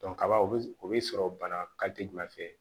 kaba o bɛ sɔrɔ bana jumɛn fɛ